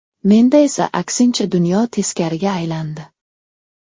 Menda esa aksincha dunyo teskariga aylandi.